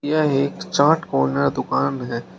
यह एक चाट कार्नर दुकान है।